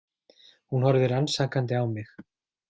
Hún horfði rannsakandi á mig.